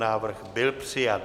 Návrh byl přijat.